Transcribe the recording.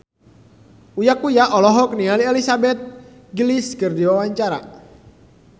Uya Kuya olohok ningali Elizabeth Gillies keur diwawancara